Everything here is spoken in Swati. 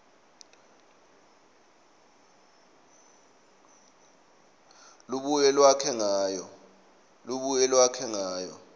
lubuye lwakhe ngayo